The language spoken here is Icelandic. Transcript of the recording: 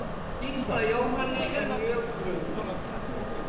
Gísla Jóhanni er mjög brugðið.